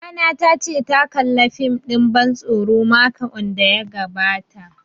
Mamana ta ce ta kalla fim ɗin ban tsoro makon da ya gabata